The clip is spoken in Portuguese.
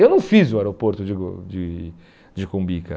Eu não fiz o aeroporto de de de Cumbica.